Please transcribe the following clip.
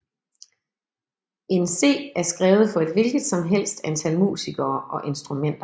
In C er skrevet for et hvilket som helst antal musikere og instrumenter